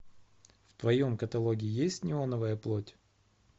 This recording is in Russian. в твоем каталоге есть неоновая плоть